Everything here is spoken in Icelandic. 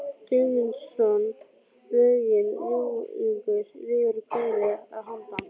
Guðmundsson lögin Ljúflingur lifir og Kveðja að handan